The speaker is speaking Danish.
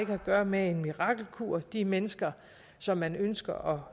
har at gøre med en mirakelkur de mennesker som man ønsker